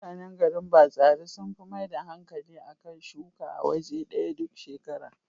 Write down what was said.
Mutanan garin Batsari sun fi maida hankali a kan shuka a waje ɗaya duk shekara.